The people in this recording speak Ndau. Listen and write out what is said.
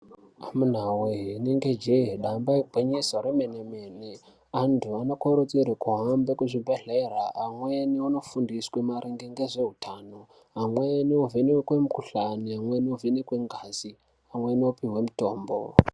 Amunawee inenge jee damba igwinyiso remene-mene. Antu anokurudzirwe kuhambe kuzvibhehlera. Amweni onofundiswe maringe ngezvehutano, amweni ovhenekwe mukuhlani, amweni ovhenekwe ngazi, amweni opihwe mitombo.